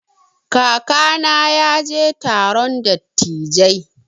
Kakana ya je taron dattijai.